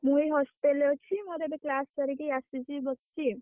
ମୁଁ ଏଇ hostel ରେ ଅଛି। ମୋର ଏବେ class ସାରିକି ଆସିଛି ବସିଛି।